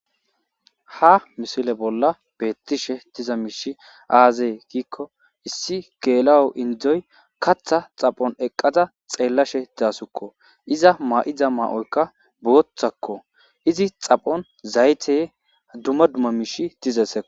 Ha misile bolla beettishe diza miishi aazee giikko issi geela'o indzoy katha xaphon eqqada xeellashe daasukko iza ma'iza maoyka boothakko izi xaphon zayteye duma dumma miishi dizase.